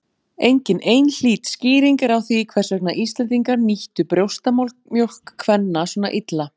Engin einhlít skýring er á því hvers vegna Íslendingar nýttu brjóstamjólk kvenna svona illa.